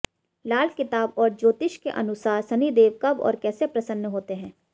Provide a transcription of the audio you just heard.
लाल किताब और ज्योतिष के अनुसार शनिदेव कब और कैसे प्रसन्न होते हैं